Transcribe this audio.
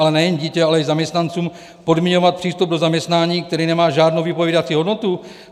Ale nejen dítě, ale i zaměstnancům podmiňovat přístup do zaměstnání, který nemá žádnou vypovídací hodnotu?